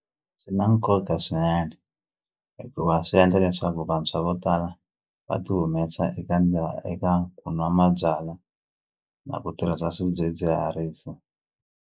Swi na nkoka swinene hikuva swi endla leswaku vantshwa vo tala va ti humesa eka eka ku nwa mabyalwa na ku tirhisa swidzidziharisi.